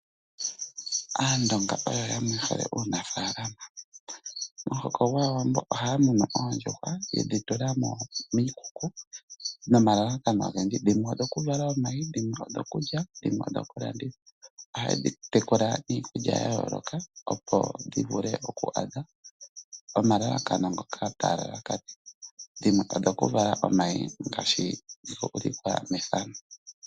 Aandonga oyo yamwe yehole uunafalama, momuhoko gwAawambo ohaya munu oondjuhwa yedhi tula miikuku nomalalakano ogendji dhimwe odhoku vala omayi, dhimwe odho kulya, dhimwe odhoku landithwa. Ohaye dhi tekula niikulya ya yoloka opo dhi vule oku adha omalalakano ngoka taya lalakanene dhimwe odhoku vala omayi ngashi dhu ukikwa methano.